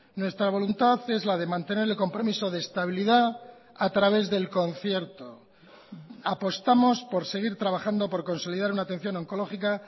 nuestra voluntad es la de mantener el compromiso de estabilidad a través del concierto apostamos por seguir trabajando por consolidar una atención oncológica